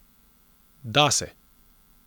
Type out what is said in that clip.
Da se!